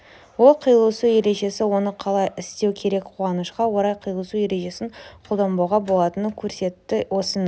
ол қиылысу ережесі оны қалай істеу керек қуанышқа орай қиылысу ережесін қолданбауға болатынын көрсетті осының